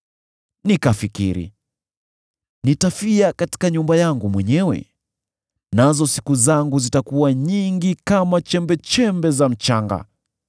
“Nikafikiri, ‘Nitafia katika nyumba yangu mwenyewe, nazo siku zangu zitakuwa nyingi kama chembechembe za mchanga.